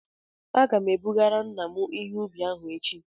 Aga m ebugara nna m ihe ubi ahụ echi